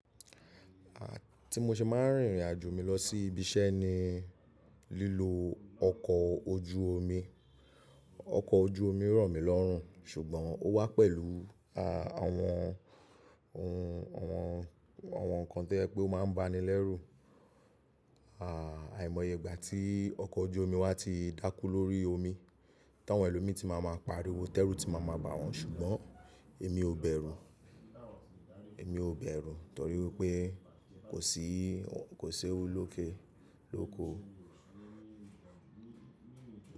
À, tí mo ṣe máa ń rìn irinajo mi lọ sí ibi iṣẹ́ ni lílo ọkọ̀ ojú omi. Ọkọ̀ ojú omi ràn mí lọ́rùn ṣùgbọ́n ó wá pẹ̀lú àwọn ohun, àwọn nǹkan tí o jẹ pé ó máa ń ba ni lẹ́rù. À àìmọye ìgbà tí ọkọ̀ ojú omi wà ti dákú lórí omi, táwọn ẹlòmíì tí máa máa pariwo, tẹ́rú tí máa máa ba wọ́n ṣùgbọ́n èmi ò bẹ̀rù, èmi ò bẹ̀rù torí pé kò sí, kò si ewu loke, lóko.